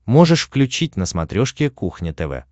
можешь включить на смотрешке кухня тв